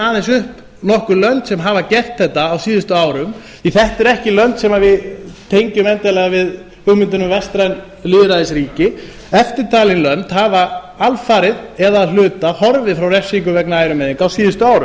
aðeins upp nokkur lönd sem hafa gert þetta á síðustu árum því þetta eru ekki lönd sem við tengjum endilega við hugmyndir um vestræn lýðræðisríki eftirtalin lönd hafa alfarið eða að hluta horfið frá refsingum vegna ærumeiðinga á síðustu